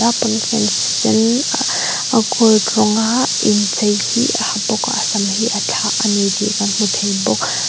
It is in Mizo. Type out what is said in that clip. pawnfen sen a gold rawng a inchei hi a ha bawk a a sam hi a thlah a ni tih kan hmu thei bawk.